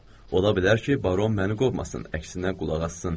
Ola bilər ki, baron məni qovmasın, əksinə qulaq assın.